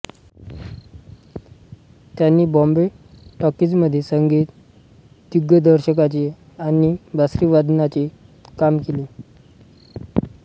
त्यांनी बॉम्बे टॉकीजमध्ये संगीत दिग्दर्शकाचे आणि बासरीवादनाचे काम केले